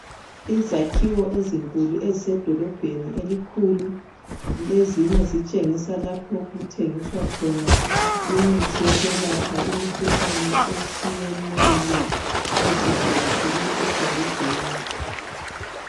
Izakhiwo ezinkulu ezise dolobheni elikhulu, kulezinye ezitshengisa khona lapho okuthengiswa khona imithi yokwelapha imikhuhlane etshiyeneyo eziyakhelwe edolobheni.